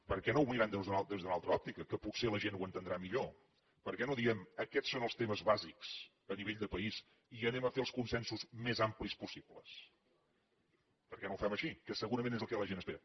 per què no ho mirem des d’una altra òptica que potser la gent ho entendrà millor per què no diem aquests són els temes bàsics a nivell de país i anem a fer els consensos més amplis possibles per què no ho fem així que segurament és el que la gent espera